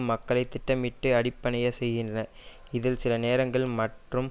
மக்களை திட்டமிட்டு அடிப்பணியச் செய்கின்றன இதில் சில நேரங்கள் மற்றும்